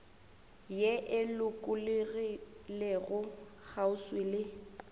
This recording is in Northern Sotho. ye e lokologilego kgauswi le